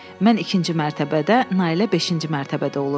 Mən ikinci mərtəbədə, Nailə beşinci mərtəbədə olurdu.